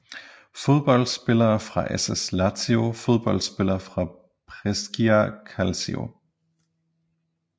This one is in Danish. Fodboldspillere fra SS Lazio Fodboldspillere fra Brescia Calcio